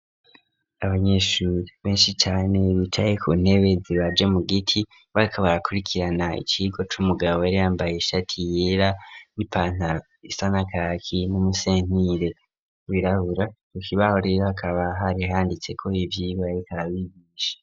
Abanyeshuri benshi cane bicaye ku ntebe zibaje mu giti bariko barakurikirana ikigo c'umugabo yari yambaye ishati yera n'ipantaro isa nakaki n'umusentire wirabura kukibaho rero hakaba hari handitseko ivyigwa bariko babigisha.